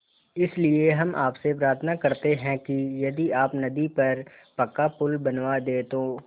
इसलिए हम आपसे प्रार्थना करते हैं कि यदि आप नदी पर पक्का पुल बनवा दे तो